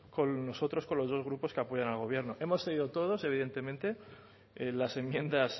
nosotros con los dos grupos que apoyan al gobierno hemos cedido todos evidentemente en las enmiendas